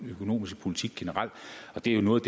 økonomiske politik generelt og det er jo noget